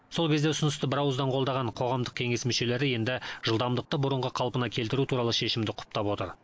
сол кезде ұсынысты бірауыздан қолдаған қоғамдық кеңес мүшелері енді жылдамдықты бұрынғы қалпына келтіру туралы шешімді құптап отыр